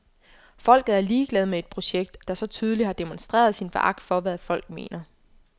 Folket er ligeglad med et projekt, der så tydeligt har demonstreret sin foragt for hvad folk mener.